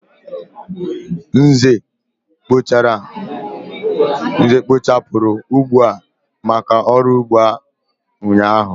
Nze kpochapuru ugbo a maka oru ugbo ụnyaahụ.